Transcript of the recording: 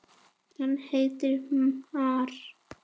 hann heitir már.